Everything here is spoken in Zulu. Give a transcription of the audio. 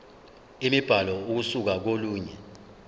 imibhalo ukusuka kolunye